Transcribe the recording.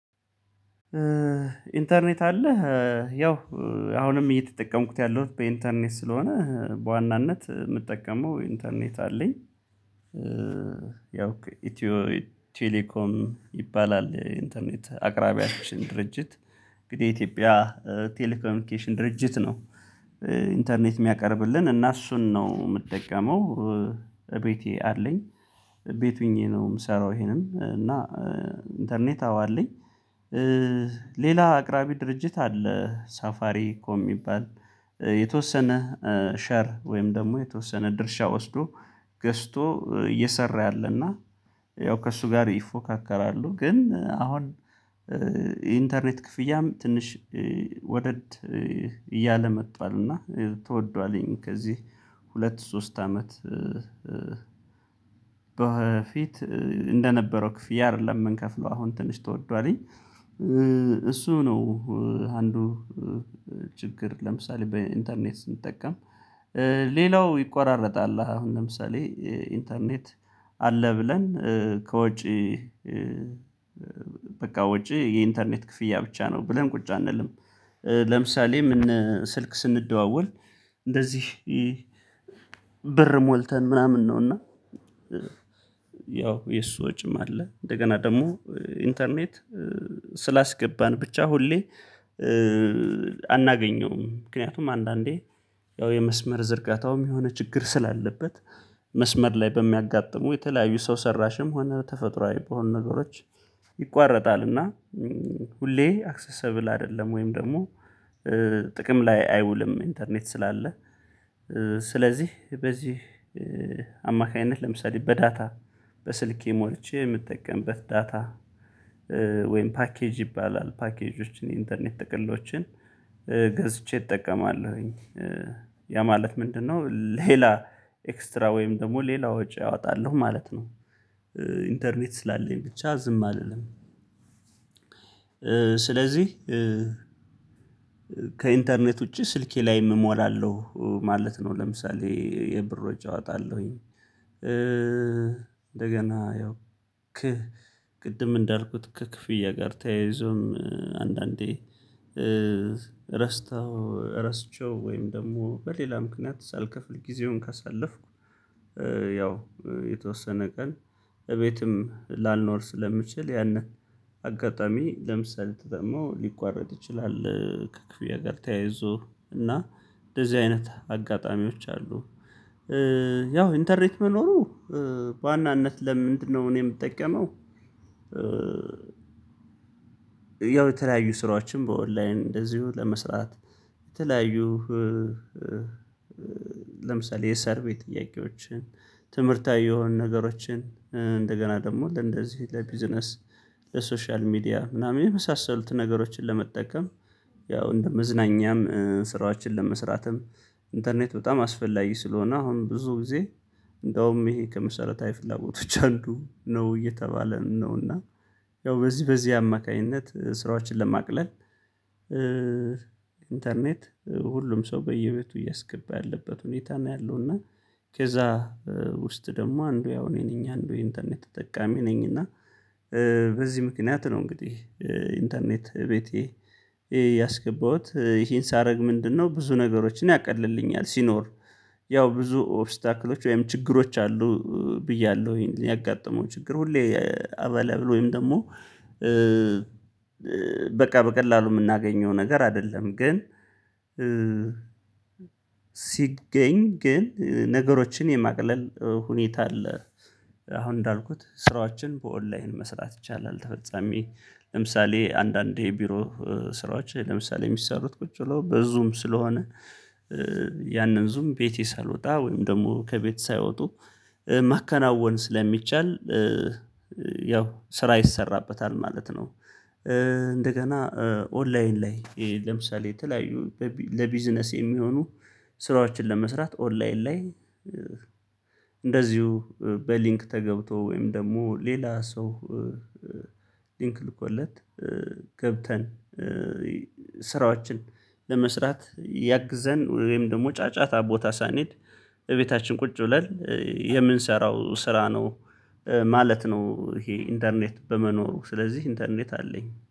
ኢንተርኔት አለህ? ያው አሁንም እየተጠቀምኩት ያለሁት በኢንተርኔት ስለሆነ በዋናነት የምጠቀመው ኢንተርኔት አለኝ። ያው ኢትዮ ቴሌኮም ይባላል ኢንተርኔት አቅራቢያችን ድርጅት እንግዲህ የኢትዮጵያ ቴሌኮሚኒኬሽን ድርጅት ነው ኢንተርኔት የሚያቀርብልን እና እሱን ነው የምጠቀመው፤ እቤቴ አለኝ ቤት ሆኜ ነው የምሰራው ይሄንም እና ኢንተርኔት አዎ አለኝ። ሌላ አቅራቢ ድርጅት አለ ሳፋሪ ኮም የሚባል የተወሰነ ሸር ወይም ደግሞ የተወሰነ ድርሻ ወስዶ ገዝቶ እየሰራ ያለና ያው ከእሱ ጋር ይፎካከራሉ፤ ግን አሁን ኢንተርኔት ክፍያም ትንሽ ወደድ እያለ መቷል እና ተወዷልኝ ከዚህ ሁለት ሶስት አመት በፊት እንደነበረው ክፍያ አይደለም የምንከፍለው አሁን ትንሽ ተወዷልኝ እሱ ነው አንዱ ችግር ለምሳሌ በኢንተርኔት ስንጠቀም ይቆራረጣል አሁን ለምሳሌ ኢንተርኔት አለ ብለን ከውጪ በቃ ወጪ የኢንተርኔት ክፍያ ብቻ ነው ብለን ቁጭ አንልም፤ ለምሳሌ ምን ስልክ ስንደዋወል እንደዚህ ብር ሞልተን ምናምን ነው፤ እና ያው የሱ ወጪም አለ እንደገና ደግሞ ኢንተርኔት ስላስገባን ብቻ ሁሌ አናገኘውም ምክንያቱም አንዳንዴ ያው የመስመር ዝርጋታውም የሆነ ችግር ስላለበት መስመር ላይ በሚያጋጥሙ የተለያዩ ሰው ሰራሽም ሆነ ተፈጥሮአዊ በሆነ ነገሮች ይቋረጣል እና ሁሌ አክሰሰብል አይደለም ወይም ደግሞ ጥቅም ላይ አይውልም ኢንተርኔት ስላለ ስለዚህ በዚህ አማካኝነት ለምሳሌ በዳታ በስልኬ ሞርቼ የምትጠቀምበት ዳታ ወይም ፓኬጅ ይባላል። ፓኬጆችን የኢንተርኔት ጥቅሎችን ገዝቼ እጠቀማለሁኝ። ያ ማለት ምንድነው ሌላ ኤክስትራ ወይም ደግሞ ሌላ ወጪ አወጣለሁ ማለት ነው። ኢንተርኔት ስላለኝ ብቻ ዝም አልልምም፤ ስለዚህ ከኢንተርኔት ውጪ ስልኬ ላይም እሞላለሁ ማለት ነው፤ ለምሳሌ የብር ወጭ አወጣለሁኝ፤ እንደገና ያው ክህ ቅድም እንዳልኩት ከክፍያ ጋር ተያይዞም አንዳንዴ ረስተው ረስቼው ወይም ደግሞ በሌላ ምክንያት ሳልከፍል ጊዜውን ካሳለፍኩ ያው የተወሰነ ቀን እቤትም ላልኖር ስለሚችል ያንን አጋጣሚ ለምሳሌ ተጠቅመው ሊቋረጥ ይችላል ከክፍያ ጋር ተያይዞ እና እንደዚህ አይነት አጋጣሚዎች አሉ። ያው ኢንተርኔት መኖሩ በዋናነት ለምንድነው እኔ የምጠቀመው ያው የተለያዩ ስራዎችን በኦንላይን እንደዚሁ ለመስራት፣ የተለያዩ ለምሳሌ የሰርቬይ ጥያቄዎችን፣ ትምህርታዊ የሆኑ ነገሮችን፣ እንደገና ደግሞ ለእንደዚህ ለቢዝነስ ለሶሻል ሚዲያ ምናምን የመሳሰሉትን ነገሮችን ለመጠቀም ያው እንደ መዝናኛም ስራዎችን ለመስራትም ኢንተርኔት በጣም አስፈላጊ ስለሆነ አሁን ብዙ ጊዜ እንደውም ይሄ ከመሰረታዊ ፍላጎቶች አንዱ ነው እየተባለም ነው፤ እና ያው በዚህ በዚህ አማካኝነት ስራዎችን ለማቅለል ኢንተርኔት ሁሉም ሰው በየቤቱ እያስገባ ያለበት ሁኔታ ነው ያለው፤ እና ከዛ ውስጥ ደግሞ አንዱ ያው እኔ ነኝ አንዱ የኢንተርኔት የተጠቃሚ ነኝ እና በዚህ ምክንያት ነው እንግዲህ ኢንተርኔት እቤቴ ያስገባሁት ይሄን ሳደርግ ምንድነው ብዙ ነገሮችን ያቀልልኛል ሲኖር ያው ብዙ ኦብስታክሎች ወይም ችግሮች አሉ ብያለሁ ይሄን ያጋጠመው ችግር ሁሌ አበለብል ወይም ደግሞ በቃ በቀላሉ የምናገኘው ነገር አይደለም፤ ግን ሲገኝ ግን ነገሮችን የማቅለል ሁኔታ አለ አሁን እንዳልኩት ስራዎችን በኦንላይን መስራት ይቻላል ተፈጻሚ ለምሳሌ አንዳንዴ የቢሮ ስራዎች ለምሳሌ የሚሰሩት ቁጭ ብለው ብዙም ስለሆነ ያንን ዙም ቤቴ ሳልወጣ ወይም ደግሞ ከቤት ሳይወጡ ማከናወን ስለሚቻል ያው ስራ ይሰራበታል ማለት ነው፤ እንደገና ኦንላይን ላይ ለምሳሌ የተለያዩ ለቢዝነስ የሚሆኑ ስራዎችን ለመስራት ኦንላይን ላይ እንደዚሁ በሊንክ ተገብቶ ወይም ደግሞ ሌላ ሰው ሊንክል ልኮለት ገብተን ስራዎችን ለመስራት ያግዘን ወይም ደግሞ ጫጫታ ቦታ ሳንሄድ እቤታችን ቁጭ ብለን የምንሰራው ስራ ነው ማለት ነው ይሄ ኢንተርኔት በመኖሩ ስለዚህ ኢንተርኔት አለኝ።